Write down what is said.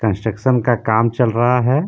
Construction का काम चल रहा है.